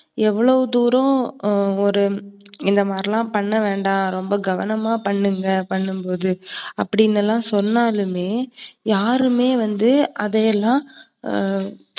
எவளோ தூரம் ஆஹ் ஒரு இந்தமாதிரி எல்லாம் பண்ணவேண்டாம். ரொம்ப கவனமா பண்ணுங்க, பண்ணும்போது அப்டி எல்லாம் சொன்னாலுமே யாருமே வந்து அதை எல்லாம் ஆஹ்